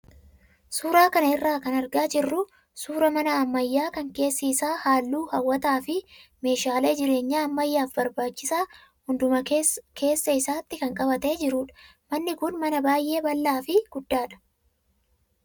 Suuraa kana irraa kan argaa jirru suuraa mana ammayyaa kan keessi isaa halluu hawwataa fi meeshaalee jireenya ammayyaaf barbaachisa hundumaa keessa isaatti kan qabatee jirudha. Manni kun mana baay'ee bal'aa fi guddaadha.